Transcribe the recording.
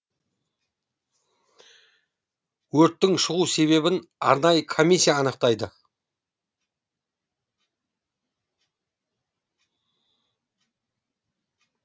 өрттің шығу себебін арнайы комиссия анықтайды